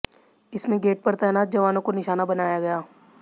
इसमें गेट पर तैनात जवानों को निशाना बनाया गया